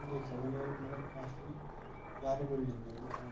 देख सकदान ये मलब काफी प्यारी बिल्डिंग जन दिख्येणी।